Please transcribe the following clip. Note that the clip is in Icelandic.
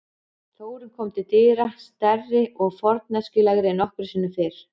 Þórunn kom til dyra, stærri og forneskjulegri en nokkru sinni fyrr.